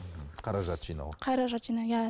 қаражат жинау қаражат жинау иә